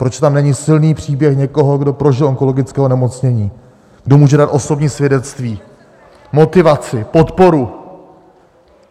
Proč tam není silný příběh někoho, kdo prožil onkologické onemocnění, kdo může dát osobní svědectví, motivaci, podporu?